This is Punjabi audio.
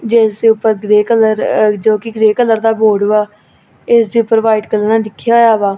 ਜਿਸ ਦੇ ਉੱਪਰ ਗ੍ਰੇ ਕਲਰ ਅ ਜੋ ਕਿ ਗ੍ਰੇ ਕਲਰ ਦਾ ਬੋਰਡ ਵਾ ਇਸ ਦੇ ਉੱਪਰ ਵਾਈਟ ਕਲਰ ਨਾਲ ਲਿੱਖਿਆ ਹੋਇਆ ਵਾ।